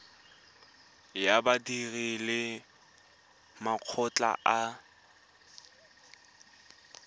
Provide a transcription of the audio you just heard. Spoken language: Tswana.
ya badiri le makgotla a